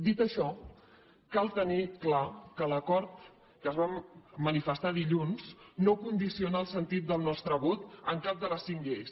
dit això cal tenir clar que l’acord que es va manifestar dilluns no condiciona el sentit del nostre vot en cap de les cinc lleis